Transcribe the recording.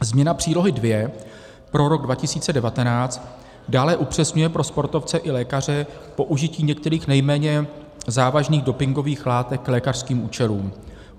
Změna Přílohy II pro rok 2019 dále upřesňuje pro sportovce i lékaře použití některých nejméně závažných dopingových látek k lékařským účelům.